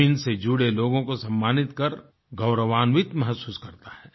जमीन से जुड़े लोगों को सम्मानित कर गौरवान्वित महसूस करता है